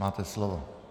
Máte slovo.